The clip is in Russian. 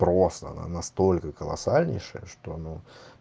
просто она настолько колоссальнейшая что ну